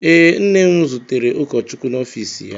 Ee, nne m zutere ụkọchukwu n'ọfiisi ya.